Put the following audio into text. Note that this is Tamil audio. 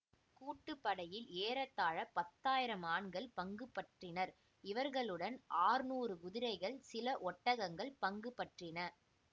கூட்டுப்படையில் ஏறத்தாழ பத்தயிரம் ஆண்கள் பங்குபற்றினர் இவர்களுடன் அற்நூறு குதிரைகள் சில ஒட்டகங்கள் பங்குபற்றின